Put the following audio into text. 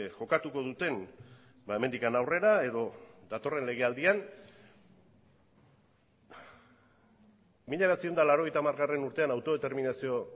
jokatuko duten hemendik aurrera edo datorren legealdian mila bederatziehun eta laurogeita hamar urtean autodeterminazio